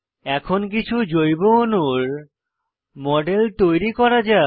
এখন কিছু সহজ জৈব অণুর মডেল তৈরি করা যাক